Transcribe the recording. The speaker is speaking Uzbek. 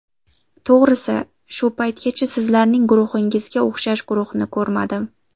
To‘g‘risi, shu paytgacha sizlarning guruhingizga o‘xshash guruhni ko‘rmadim.